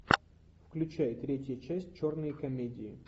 включай третья часть черные комедии